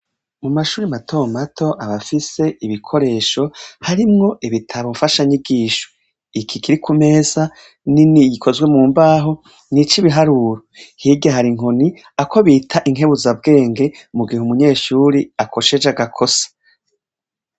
Amashure mato mato, aba afise ibikoresho harimwo ibitabo mfashanyigisho. Iki kiri ku meza nini ikozwe mu mbaho, ni ic'ibiharuro. Hirya hari inkoni, ako bita inkebuzabwenge, mu gihe umunyeshuri akosheje agakosa.